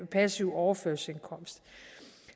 passiv overførselsindkomst